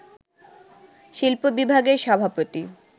শিল্প-বিভাগের সভাপতি